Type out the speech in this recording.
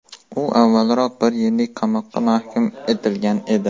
U avvalroq bir yillik qamoqqa mahkum etilgan edi.